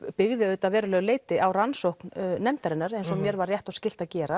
byggði auðvitað að verulegu leyti á rannsókn nefndarinnar eins og mér var rétt og skylt að gera